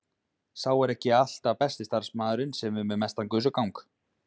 Sá er ekki alltaf besti starfsmaðurinn sem er með mestan gusugang.